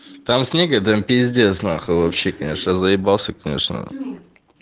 там снега да пиздец нахуй вообще конечно заебался конечно